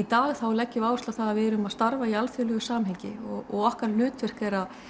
í dag leggjum við áherslu á að við erum að starfa í alþjóðlegu samhengi og okkar hlutverk er að